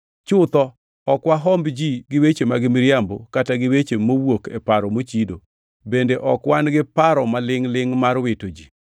Chutho, ok wahomb ji gi weche mag miriambo kata gi weche mowuok e paro mochido. Bende ok wan gi paro malingʼ-lingʼ mar wito ji.